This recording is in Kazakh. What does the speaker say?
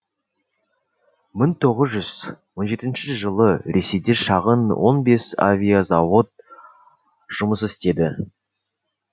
мың тоғыз жүз он жетінші жылы ресейде шағын он бес авиазауыт жұмыс істеді